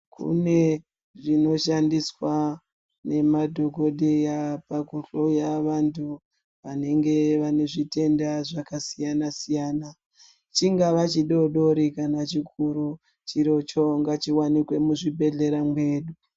Kune zvino shandiswa ne madhokodheya paku hloya vantu vanenge vane zvitenda zvaka siyana siyana chingava chi dodori kana chikuru chiricho ngachi wanikwe mu zvibhedhlera medu.